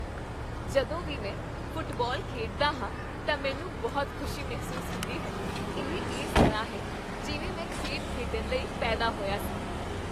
ਜਦੋਂ ਵੀ ਮੈਂ ਫੁੱਟਬਾਲ ਖੇਡਦਾ ਹਾਂ ਤਾਂ ਮੈਨੂੰ ਬਹੁਤ ਖੁਸ਼ੀ ਮਹਿਸੂਸ ਹੁੰਦੀ ਹੈ। ਇਹ ਇਸ ਤਰ੍ਹਾਂ ਹੈ ਜਿਵੇਂ ਮੈਂ ਖੇਡ ਖੇਡਣ ਲਈ ਪੈਦਾ ਹੋਇਆ ਸੀ।